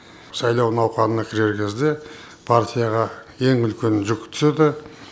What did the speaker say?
сайлау науқанына кірер кезде партияға ең үлкен жүк түседі